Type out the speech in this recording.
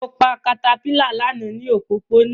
Mo pa caterpillar lana ni opopona